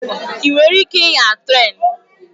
Ị nwere ike ịnya trén?